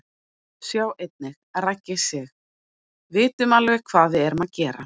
Sjá einnig: Raggi Sig: Vitum alveg hvað við erum að gera